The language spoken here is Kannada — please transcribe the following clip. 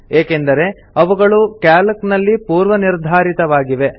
ಏಕೆಂದರೆ ಅವುಗಳು ಕ್ಯಾಲ್ಕ್ ನಲ್ಲಿ ಪೂರ್ವ ನಿರ್ಧಾರಿತವಾಗಿವೆ